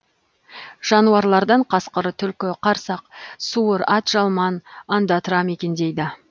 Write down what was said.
жануарлардан қасқыр түлкі қарсақ суыр атжалман ондатра мекендейді